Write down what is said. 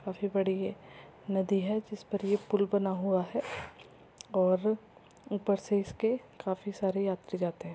काफी बड़ी ये नदी है जिस पर ये पूल बना हुआ हैं और ऊपर से इसके काफी सारे यात्री जाते है।